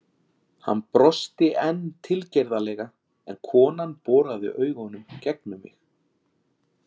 Hann brosti enn tilgerðarlega en konan boraði augunum gegnum mig.